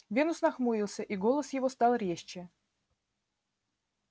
венус нахмурился и голос его стал резче